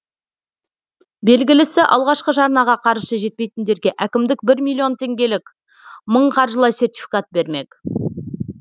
белгілісі алғашқы жарнаға қаржысы жетпейтіндерге әкімдік бір миллион теңгелік мың қаржылай сертификат бермек